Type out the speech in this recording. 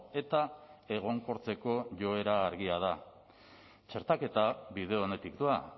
eta egonkortzeko joera argia da txertaketa bide onetik doa